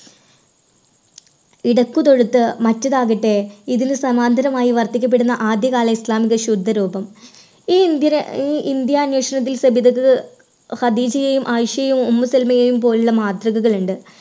ഇടയ്ക്ക് തൊടുത്ത് ഇതിന് സമാന്തരമായി വർദ്ധിക്കപ്പെടുന്ന ആദ്യകാല ഇസ്ലാമിൻറെ ശുദ്ധ രൂപം ഈ ഇന്ത്യര്, ഈ ഇന്ത്യ അന്വേഷണത്തിൽ സബിതയ്ക്ക് ഹദീജയെയും, ആയിഷയെയും, ഉമ്മുക്കുൽസുവിനെയും പോലുള്ള മാതൃകകൾ ഉണ്ട്.